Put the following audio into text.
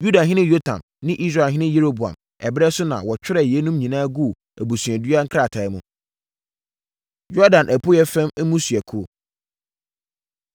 Yudahene Yotam ne Israelhene Yeroboam ɛberɛ so na wɔtwerɛɛ yeinom nyinaa guu abusuadua nkrataa mu. Yordan Apueeɛ Fam Mmusuakuo